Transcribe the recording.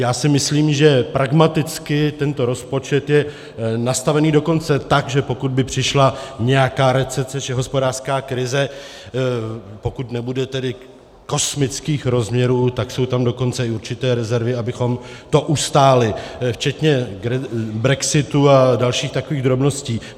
Já si myslím, že pragmaticky tento rozpočet je nastavený dokonce tak, že pokud by přišla nějaká recese či hospodářská krize, pokud nebude tedy kosmických rozměrů, tak jsou tam dokonce i určité rezervy, abychom to ustáli, včetně brexitu a dalších takových drobností.